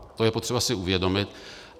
To je potřeba si uvědomit.